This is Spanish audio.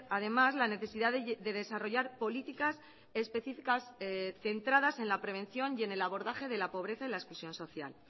además la necesidad de desarrollar políticas específicas centradas en la prevención y en el abordaje de la pobreza y la exclusión social